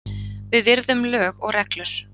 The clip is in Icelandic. Við virðum lög og reglur